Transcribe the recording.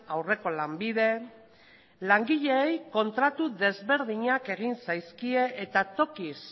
aurreko lanbide langileei kontratu desberdinak egin zaizkie eta tokiz